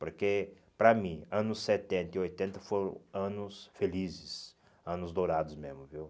Porque, para mim, anos setenta e oitenta foram anos felizes, anos dourados mesmo, viu?